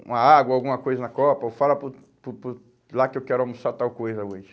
uma água, alguma coisa na copa, ou fala por por por lá que eu quero almoçar tal coisa hoje.